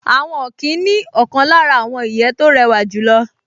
Àwọn ọ̀kín ní ọ̀kan lára àwọn ìyẹ́ tó rẹwà jùlọ